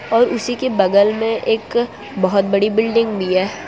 और उसीके बगल में एक बहोत बड़ी बिल्डिंग भी हैं।